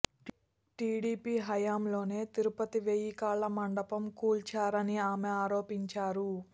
TDP హయాంలోనే తిరుపతి వెయ్యి కాల్ల మండపం కూల్చారని ఆమె ఆరోపించారు